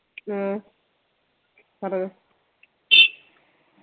ഹ്മ്മ് പറഞ്ഞോ